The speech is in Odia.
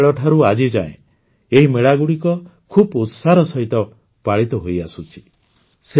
ସେତେବେଳଠାରୁ ଆଜିଯାଏ ଏହି ମେଳାଗୁଡ଼ିକ ଖୁବ୍ ଉତ୍ସାହର ସହିତ ପାଳିତ ହୋଇଆସୁଛି